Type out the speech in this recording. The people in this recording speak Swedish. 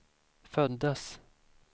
föddes